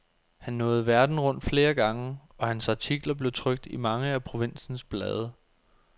Han nåede verden rundt flere gange, og hans artikler blev trykt i mange af provinsens blade.